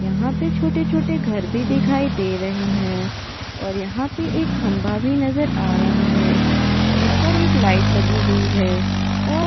यहां पर छोटे-छोटे घर भी दिखाई दे रहे हैं और यहां पर एक खंभा भी नजर आ रहा है जिस पर एकलाइट लगी हुई है।